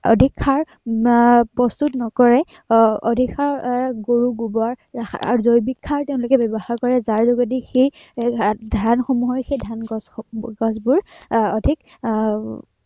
অধিক সাৰ প্ৰস্তুত নকৰে। আহ অধিক সাৰ গৰুৰ গোৱৰ আহ জৈৱিক সাৰ তেওঁলোকে ব্য়ৱহাৰ কৰে। যাৰ যোগেদি এৰ ধানসমূহৰ সেই ধন গছসমূহৰ গছবোৰ আহ অধিক আহ